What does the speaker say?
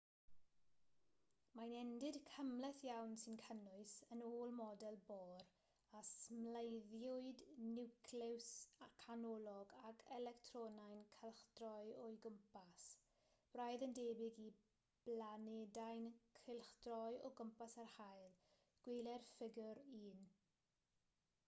mae'n endid cymhleth iawn sy'n cynnwys yn ôl model bohr a symleiddiwyd niwclews canolog ag electronau'n cylchdroi o'i gwmpas braidd yn debyg i blanedau'n cylchdroi o gwmpas yr haul gweler ffigur 1